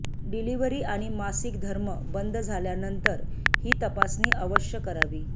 delivery आणि मासिक धर्म बंद झाल्यानंतर हि तपासणी अवश्य करावी